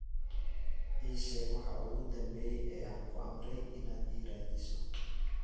ii sheeg waxa ugu dambeeya ee aan ku amray inaad ii raadiso